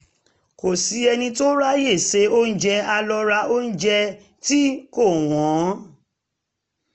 kò sí ẹni tó ráyè se oúnjẹ a lọ ra oúnjẹ tí kò wọ́n